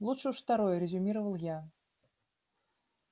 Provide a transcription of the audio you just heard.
лучше уж второе резюмировал я